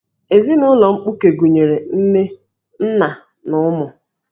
Ezinụlọ mkpuke gụnyere nna, nne, na ụmụ